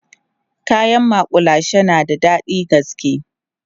kayan makullashe na da daɗin gaske